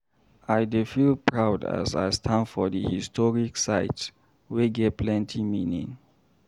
I dey feel proud as I stand for the historic site wey get plenty meaning.